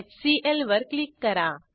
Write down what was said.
HCL वर click करा